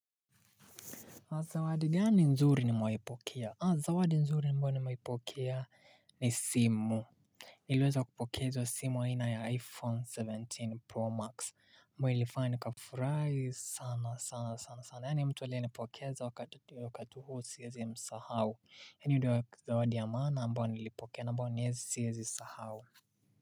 Zawadi gani nzuri nimewaipokea? Zawadi nzuri ambayo nimewaipokea ni simu. Niliweza kupokeza simu aina ya iPhone kumi na saba Pro Max mbayo ilifanya ni kafurai sana sana sana sana yaani mtu aliye nipokeza wa kati huo siwezi msahawu. Hii ndio zawadi ya mana ambayo nilipokea ambao nilipokea ambao nyezi siezi sahau.